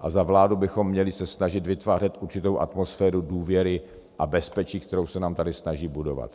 a za vládu bychom měli se snažit vytvářet určitou atmosféru důvěry a bezpečí, kterou se nám tady snaží budovat.